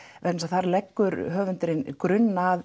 vegna þess að þar leggur höfundurinn grunn að